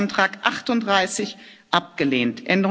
Änderungsantrag 38 abgelehnt